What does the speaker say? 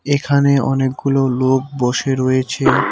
এখানে অনেকগুলো লোক বসে রয়েছে।